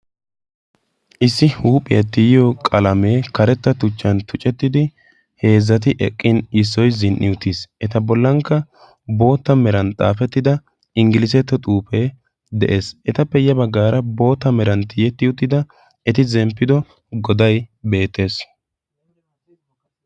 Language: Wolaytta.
issi huuphiyaa tiyiyo qalamee karetta tuchchan tucettidi heezzati eqqin issoi zin77i utiis. eta bollankka bootta meran xaafettida inggiliisetto xuupee de7ees. etappe ya baggaara boota meran tiiyetti uttida eti zemppido godai beettees.